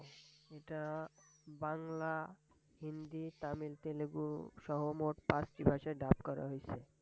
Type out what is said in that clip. এটা বাংলা, হিন্দি, তামিল, তেলেগু সহ মোট পাঁচটি ভাষায় Dub করা হইসে।